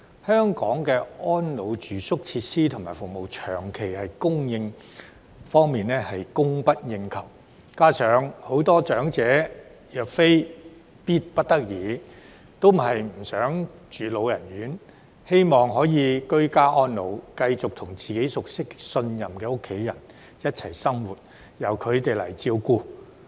香港的安老住宿設施和服務在供應方面長期供不應求，加上很多長者若非必不得已，也不想居住老人院，希望可以居家安老，繼續和自己熟悉及信任的家人一起生活，由他們來照顧。